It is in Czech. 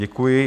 Děkuji.